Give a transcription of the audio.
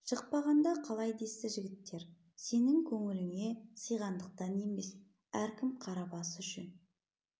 шықпағанда қалай десті жігіттер сенін көңіліңе сыйғандықтан емес әркім қара басы үшін